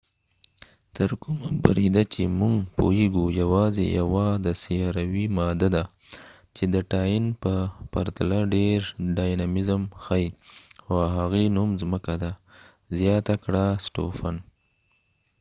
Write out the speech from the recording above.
تر کومه بریده چې موږ پوهیږو یواځی یوه د سیاروي ماده ده چې د ټاین په پرتله ډیر ډاینامیزم ښایې او هغې نو م ځمکه ده سټوفن stofan زیاته کړه